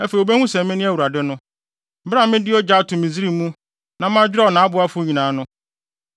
Afei wobehu sɛ mene Awurade no, bere a mede ogya ato Misraim mu na madwerɛw nʼaboafo nyinaa no.